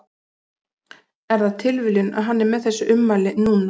Er það tilviljun að hann er með þessi ummæli núna?